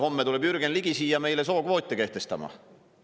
Homme tuleb Jürgen Ligi siia meile sookvoote kehtestama.